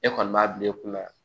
E kɔni b'a bila i kunna